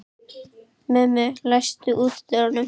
Mummi, læstu útidyrunum.